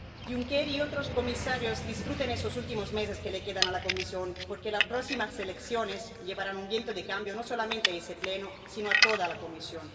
Juncker, comisarios, disfruten estos últimos meses que le quedan a la Comisión, porque las próximas elecciones llevarán un viento de cambio no solamente a este Pleno, sino a toda la Comisión.